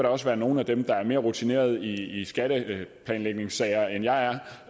også være nogle af dem der er mere rutinerede i skatteplanlægningssager end jeg er